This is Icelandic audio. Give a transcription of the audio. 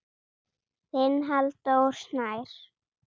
Þinn Halldór Snær.